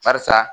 Barisa